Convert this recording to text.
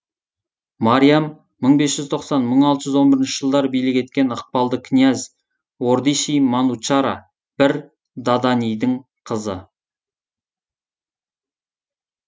мариам мың бес жүз тоқсан мың алты жүз он бірінші жылдары билік еткен ықпалды князь одиши манучара бір даданидің қызы